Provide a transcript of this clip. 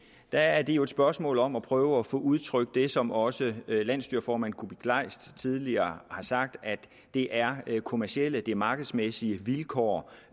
er det jo et spørgsmål om at prøve at få udtrykt det som også landsstyreformand kuupik kleist tidligere har sagt at det er kommercielle markedsmæssige vilkår